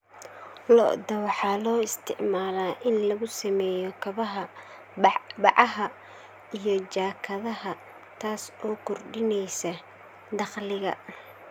Lo'da waxaa loo isticmaalaa in lagu sameeyo kabaha, bacaha, iyo jaakadaha, taas oo kordhinaysa dakhliga.